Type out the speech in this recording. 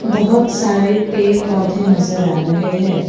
बहोत सारे पेड़ पौधे नजर आ रहे है।